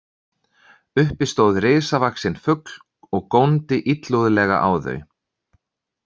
Uppi stóð risavaxinn fugl og góndi illúðlega á þau.